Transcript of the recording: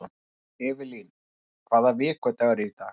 Evelyn, hvaða vikudagur er í dag?